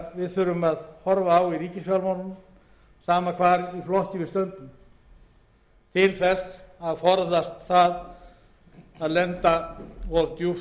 þurfum að horfa á í ríkisfjármálunum sama hvar í flokki við stöndum til að forðast að lenda of djúpt í þeirri lægð og